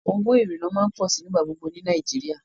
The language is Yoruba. Awọn owo irinna ma n pọ si nigbagbogbo ni Nàìjíríà